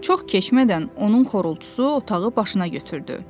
Çox keçmədən onun xorultusu otağı başına götürdü.